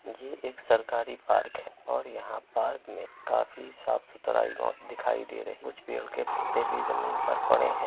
ये एक सरकारी पार्क है और यहाँ पार्क में काफी साफ-सुथरा दिखाई दे रहा है। कुछ पेड़ के पत्ते भी जमीन पर पड़े हुए हैं।